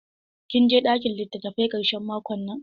Kin je ɗakin litattafai ƙarshen makon nan?